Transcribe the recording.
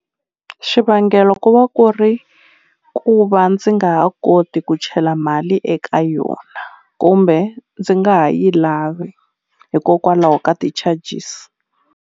Xivangelo ku va ku ri ku va ndzi nga ha koti ku chela mali eka yona kumbe ndzi nga ha yi lavi hikokwalaho ka ti-charges.